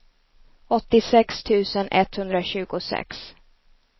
åttiosex tusen etthundratjugosex